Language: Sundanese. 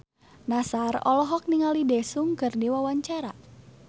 Nassar olohok ningali Daesung keur diwawancara